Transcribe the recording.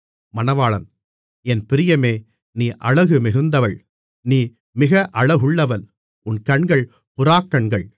என் பிரியமே நீ அழகு மிகுந்தவள் நீ மிக அழகுள்ளவள் உன் கண்கள் புறாக்கண்கள் மணவாளி